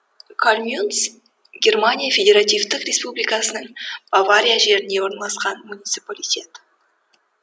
калльмюнц германия федеративтік республикасының бавария жерінде орналасқан муниципалитет